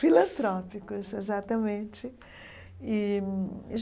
Filantrópicos, exatamente e.